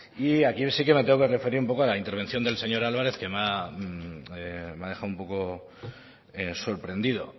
y aquí sí que me tengo que referir un poco a la intervención del señor álvarez que me ha dejado un poco sorprendido